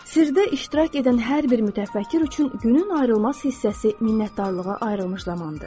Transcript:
Sirdə iştirak edən hər bir mütəfəkkir üçün günün ayrılmaz hissəsi minnətdarlığa ayrılmış zamandır.